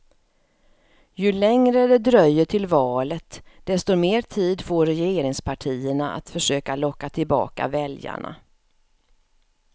Ju längre det dröjer till valet, desto mer tid får regeringspartierna att försöka locka tillbaka väljarna.